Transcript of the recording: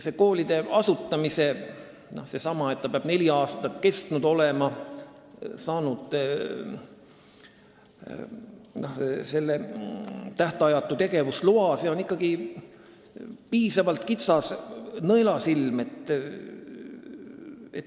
See, et ta peab olema neli aastat tegutsenud ja saanud tähtajatu tegevusloa, on ikkagi piisavalt kitsas nõelasilm.